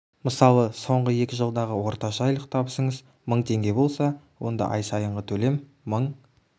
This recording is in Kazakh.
мысалы соңғы екі жылдағы орташа айлық табысыңыз мың теңге болса онда ай сайынғы төлем мың